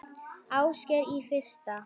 Ásgeir: Í fyrsta?